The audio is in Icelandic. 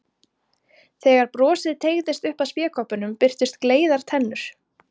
Þegar brosið teygðist upp að spékoppunum birtust gleiðar tennur.